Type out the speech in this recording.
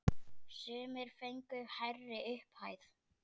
Sumir fengu hærri upphæð.